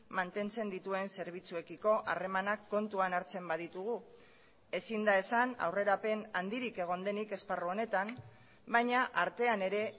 mantentzen dituen zerbitzuekiko harremanak kontuan hartzen baditugu ezin da esan aurrerapen handirik egon denik esparru honetan baina artean ere